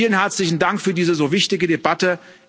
Vielen herzlichen Dank für diese so wichtige Debatte.